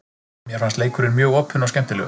Mér fannst leikurinn mjög opinn og skemmtilegur.